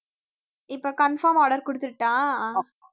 இப்ப confirm order குடுத்திடட்டா